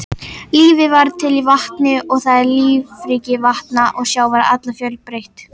Lífið varð til í vatni og því er lífríki vatna og sjávar afar fjölbreytt.